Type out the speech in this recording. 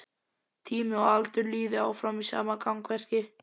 Tími og aldur líði áfram í sama gangverki.